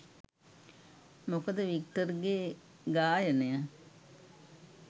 මොකද වික්ටර්ගේ ගායනය